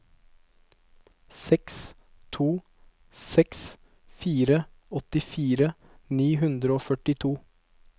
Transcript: seks to seks fire åttifire ni hundre og førtito